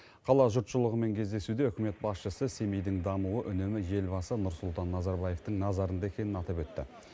қала жұртшылығымен кездесуде үкімет басшысы семейдің дамуы үнемі елбасы нұрсұлтан назарбаевтың назарында екенін атап өтті